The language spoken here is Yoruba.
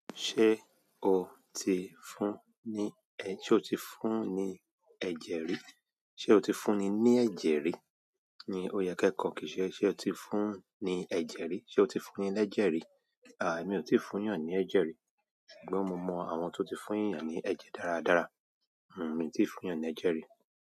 Ṣé o tí fún ni ẹ, ṣé o tí fún ni ẹ̀jẹ̀ rí? Se o tí fúnni ní ẹ̀jẹ̀ rí ni o yẹ ke kò kìí ṣe ṣé o tí fún ni ẹ̀jẹ̀ rí, se o tí fúnni lẹ́jẹ̀ rí? Àh, èmi ò tíì fúnyàn ní ẹ̀jẹ̀ rí. Ṣùgbọ́n mo mọ àwọn tó tí fún eeyán ní ẹ̀jẹ̀ dáradára. Hm, mi ì tíì fúnyán ní ẹ̀jẹ̀ rí.